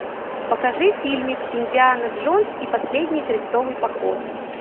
покажи фильмик индиана джонс и последний крестовый поход